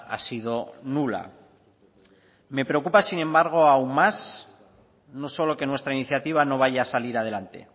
ha sido nula me preocupa sin embargo aún más no solo que nuestra iniciativa no vaya a salir adelante